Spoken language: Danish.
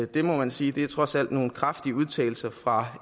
det må man sige trods alt er nogle kraftige udtalelser fra